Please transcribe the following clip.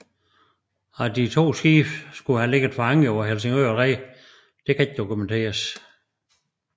At de to skibe skulle have ligget for anker på Helsingør red kan ikke dokumenteres